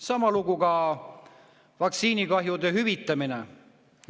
Sama lugu oli ka vaktsiinikahjude hüvitamisega.